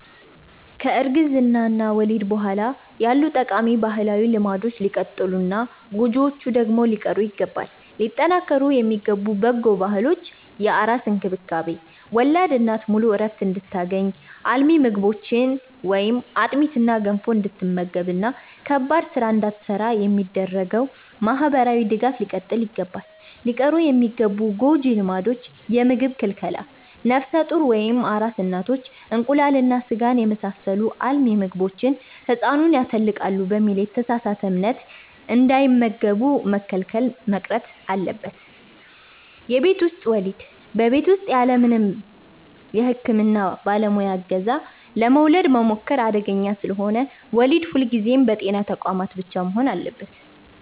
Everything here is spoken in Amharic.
ከእርግዝና እና ወሊድ በኋላ ያሉ ጠቃሚ ባህላዊ ልማዶች ሊቀጥሉና ጎጂዎቹ ደግሞ ሊቀሩ ይገባል። ሊጠናከሩ የሚገቡ በጎ ባህሎች፦ የአራስ እንክብካቤ፦ ወላድ እናት ሙሉ ዕረፍት እንድታገኝ፣ አልሚ ምግቦችን (አጥሚትና ገንፎ) እንድትመገብና ከባድ ሥራ እንዳትሠራ የሚደረገው ማኅበራዊ ድጋፍ ሊቀጥል ይገባል። ሊቀሩ የሚገቡ ጎጂ ልማዶች፦ የምግብ ክልከላ፦ ነፍሰ ጡር ወይም አራስ እናቶች እንቁላልና ሥጋን የመሳሰሉ አልሚ ምግቦችን «ሕፃኑን ያተልቃል» በሚል የተሳሳተ እምነት እንዳይመገቡ መከልከል መቅረት አለበት። የቤት ውስጥ ወሊድ፦ በቤት ውስጥ ያለምንም የሕክምና ባለሙያ ዕገዛ ለመውለድ መሞከር አደገኛ ስለሆነ፣ ወሊድ ሁልጊዜም በጤና ተቋማት ብቻ መሆን አለበት።